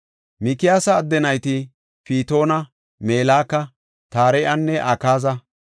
Mikiyaasa adde nayti Pitoona, Meleka, Tare7anne Akaaza.